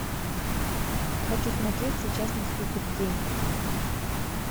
хочу смотреть сейчас наступит день